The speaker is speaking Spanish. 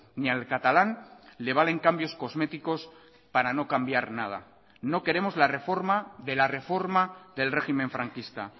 ni al catalán le valen cambios cosméticos para no cambiar nada no queremos la reforma de la reforma del régimen franquista